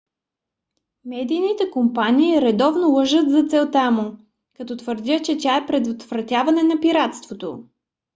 медийните компании редовно лъжат за целта му като твърдят че тя е предотвратяване на пиратството